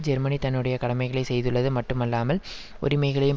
Germany தன்னுடைய கடமைகளை செய்துள்ளது மட்டும் அல்லாமல் உரிமைகளையும்